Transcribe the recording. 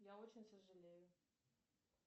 я очень сожалею